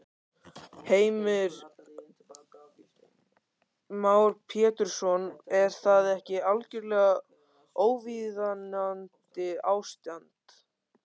Heimir Már Pétursson: Er það ekki algjörlega óviðunandi ástand?